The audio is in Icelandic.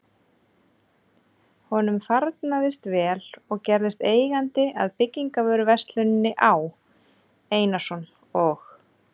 Honum farnaðist vel og gerðist eigandi að byggingarvöruversluninni Á. Einarsson og